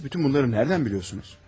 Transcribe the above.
Siz bütün bunları nədən biliyorsunuz?